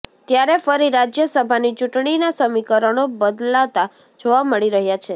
ત્યારે ફરી રાજ્યસભાની ચૂંટણીના સમીકરણો બદલાતાં જોવા મળી રહ્યાં છે